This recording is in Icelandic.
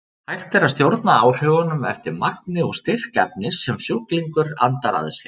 Hægt er að stjórna áhrifunum eftir magni og styrk efnis sem sjúklingur andar að sér.